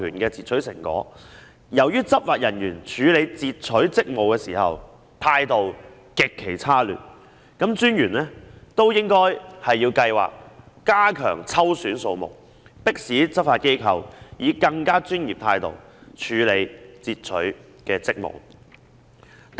由於執法人員處理截取職務時，態度極其差劣，專員應該提高抽選數目，迫使執法機構以更專業的態度執行截取職務。